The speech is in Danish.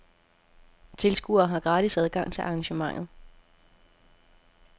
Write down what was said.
Tilskuere har gratis adgang til arrangementet.